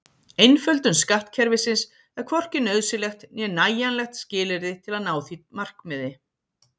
Einföldun skattkerfisins er hvorki nauðsynlegt né nægjanlegt skilyrði til að ná því markmiði.